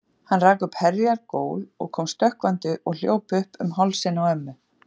Hann rak upp heljar gól og kom stökkvandi og hljóp upp um hálsinn á ömmu.